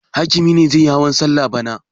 Hakimi ne zai yi hawan salla bana.